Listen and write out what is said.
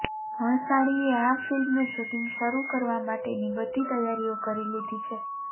ભણસાળીએ આ ફિલ્મનું શૂટિંગ શરૂ કરવા માટેની બધી તૈયારીઓ કરી લીધી છે